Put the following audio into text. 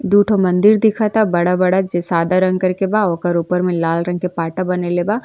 दुठो मंदिर दिखता। बड़ा-बड़ा जे सादा रंग कर बा। ओकर ऊपर में लाल रंग के पाटा बनइले बा।